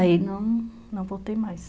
Aí não não voltei mais.